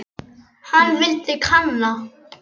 Hann vildi kanna.